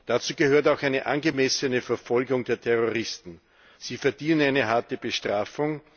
Dazu gehört auch eine angemessene Verfolgung der Terroristen sie verdienen eine harte Bestrafung.